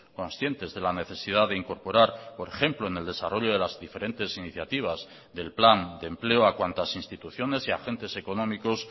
conscientes de la necesidad de incorporar por ejemplo en el desarrollo de las diferentes iniciativas del plan de empleo a cuantas instituciones y agentes económicos